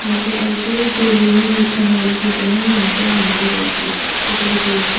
यहाँ पे जो डेली युस करने वाली चीजें है वो यहाँ पे मिलती होगी जैसे की बेसन --